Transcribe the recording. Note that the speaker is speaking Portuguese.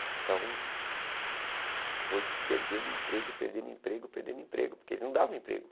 Então, foi perdendo emprego, perdendo emprego, perdendo emprego, porque eles não davam emprego.